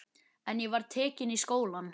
En ég var tekin í skólann.